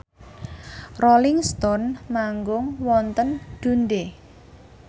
Rolling Stone manggung wonten Dundee